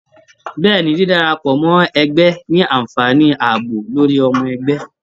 Bẹ́ẹ̀ni, dídárapọ mọ ẹgbẹ ní anfààní ààbò lórí ọmọ ẹgbẹ.